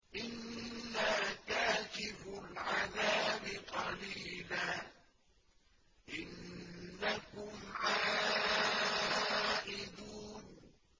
إِنَّا كَاشِفُو الْعَذَابِ قَلِيلًا ۚ إِنَّكُمْ عَائِدُونَ